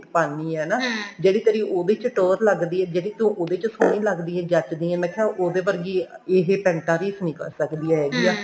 ਪਾਨੀ ਹੈ ਨਾ ਜਿਹੜੀ ਤੇਰੀ ਉਹਦੇ ਚ ਟੋਹਰ ਲੱਗਦੀ ਐ ਜਿਹੜੀ ਤੂੰ ਉਹਦੇ ਚ ਸੋਹਣੀ ਲੱਗਦੀ ਹੈ ਜਚਦੀ ਹੈ ਮੈਂ ਕਿਹਾ ਉਹਦੇ ਵਰਗੀ ਇਸ ਪੈਂਟਾ ਦੀ ਰੀਸ ਨਹੀਂ ਕਰ ਸਕਦੀਆਂ ਹੈਗੀਆਂ